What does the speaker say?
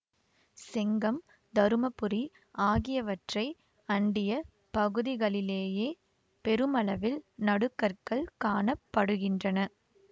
செங்கம் தருமபுரி ஆகியவற்றை அண்டிய பகுதிகளிலேயே பெருமளவில் நடுகற்கள் காண படுகின்றன